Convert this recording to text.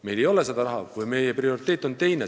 Meil ei ole selleks raha, kuna meie prioriteet on teine.